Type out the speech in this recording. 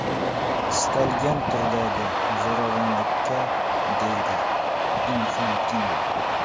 Istalgan turdagi zo‘ravonlikka”, deydi Infantino.